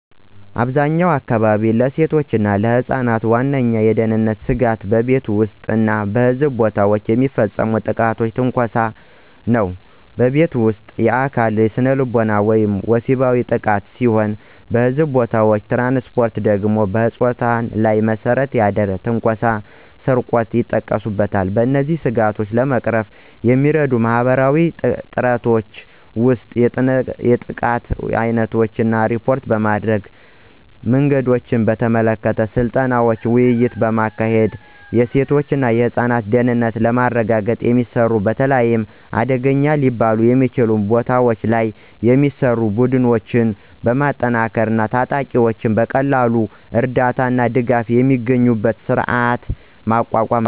በአብዛኛዎቹ አካባቢዎች፣ ለሴቶች እና ለህፃናት ዋነኛው የደህንነት ስጋት በቤት ውስጥ እና በሕዝብ ቦታዎች የሚፈጸም ጥቃትና ትንኮሳ ነው። በቤት ውስጥ: የአካል፣ ስነልቦናዊ ወይም ወሲባዊ ጥቃት ሲሆን በሕዝብ ቦታዎች/ትራንስፖርት ደግሞ በፆታ ላይ የተመሰረተ ትንኮሳ እና ስርቆት ይጠቀሱበታል። እነዚህን ስጋቶች ለመቅረፍ የሚረዱ ማህበረሰባዊ ጥረቶች ውስጥ የጥቃት ዓይነቶችን እና ሪፖርት ማድረጊያ መንገዶችን በተመለከተ ስልጠናዎችንና ውይይቶችን ማካሄድ፤ የሴቶች እና ህፃናት ደህንነትን ለማረጋገጥ የሚሰሩ፣ በተለይ አደገኛ ሊባሉ በሚችሉ ቦታዎች ላይ የሚሰሩ፣ ቡድኖችን ማጠናከር እና ተጠቂዎች በቀላሉ እርዳታ እና ድጋፍ የሚያገኙበትን ስርዓት ማቋቋም።